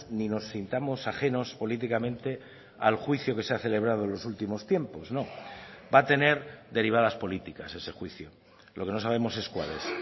ni nos sintamos ajenos políticamente al juicio que se ha celebrado en los últimos tiempos va a tener derivadas políticas ese juicio lo que no sabemos es cuál es